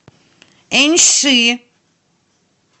эньши